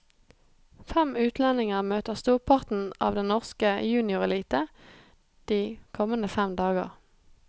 Fem utlendinger møter storparten av den norske juniorelite de kommende fem dager.